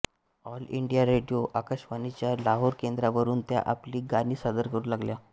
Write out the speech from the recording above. all India radio आकाशवाणीच्या लाहोर केंद्रावरून त्या आपली गाणी सादर करू लागल्या